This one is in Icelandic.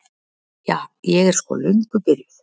Ja, ég er sko löngu byrjuð.